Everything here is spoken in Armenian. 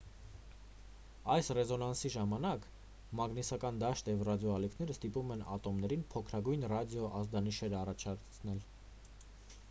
այս ռեզոնանսի ժամանակ մագնիսական դաշտը և ռադիոալիքները ստիպում են ատոմներին փոքրագույն ռադիո ազդանիշներ առաջացնել